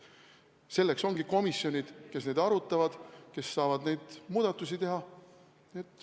Selleks ongi komisjonid, kes asja arutavad, kes saavad muudatusi teha.